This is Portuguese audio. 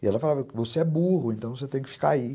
E ela falava, você é burro, então você tem que ficar aí.